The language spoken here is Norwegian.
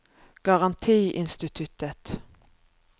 garantiinstituttet